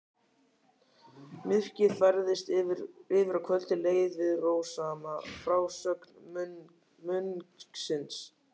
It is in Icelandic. Myrkrið færðist yfir og kvöldið leið við rósama frásögn munksins.